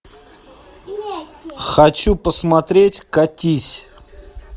хочу посмотреть катись